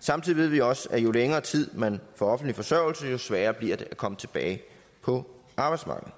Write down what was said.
samtidig ved vi også at jo længere tid man får offentlig forsørgelse jo sværere bliver det at komme tilbage på arbejdsmarkedet